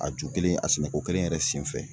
A ju kelen a sɛnɛko kelen yɛrɛ sen fɛ.